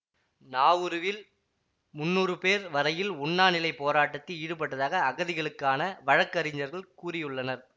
நாவுருவில் முன்னூறு பேர் வரையில் உண்ணாநிலைப் போராட்டத்தில் ஈடுபட்டதாக அகதிகளுக்கான வழக்கறிஞர்கள் கூறியுள்ளனர்